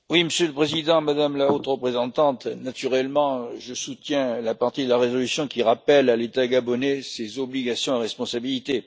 Monsieur le Président, Madame la Haute Représentante, naturellement, je soutiens la partie de la résolution qui rappelle à l'État gabonais ses obligations et responsabilités.